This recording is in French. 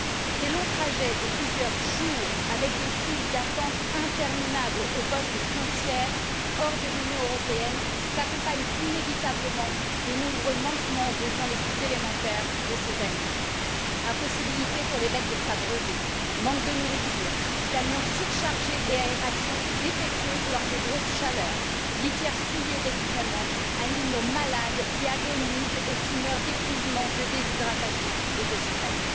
Ces longs trajets de plusieurs jours, avec des files d'attente interminables aux postes frontières hors de l'Union européenne, s'accompagnent inévitablement de nombreux manquements aux besoins les plus élémentaires de ces animaux impossibilité pour les bêtes de s'abreuver, manque de nourriture, camions surchargés et aération défectueuse lors de grosses chaleurs, litières souillées d'excréments, animaux malades qui agonisent et qui meurent d'épuisement, de déshydratation et de stress,